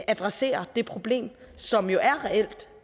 adressere det problem som jo er reelt